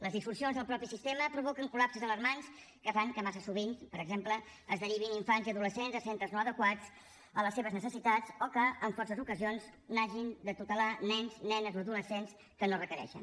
les disfuncions del mateix sistema provoquen col·lapses alarmants que fan que massa sovint per exemple es derivin infants i adolescents a centres no adequats a les seves necessitats o que en força ocasions hagin de tutelar nens nenes o adolescents que no ho requereixen